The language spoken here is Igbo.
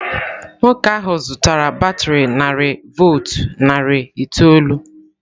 Nwoke ahụ zụtara batrị narị volt narị itoolu.